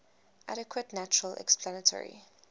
adequate natural explanatory